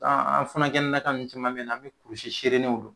An an funankɛnin nankaw ninnu caman be ye nɔ an bɛ kurusi serenenw don